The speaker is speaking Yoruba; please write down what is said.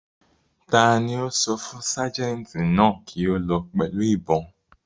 Ta ni ó sọ fún ságẹ̀ǹtì náà kí ó lọ pẹ̀lú ìbọn?